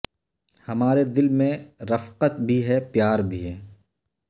ہمارے دل میں رفقت بھی ہے پیار بھی ہے